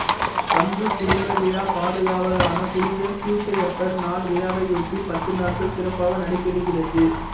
பங்கு குடும்ப விழா பாதுகாவலரான புனித சூசையப்பர் நாள் விழாவையொட்டி பத்து நாட்கள் சிறப்பாக நடைபெறுகிறது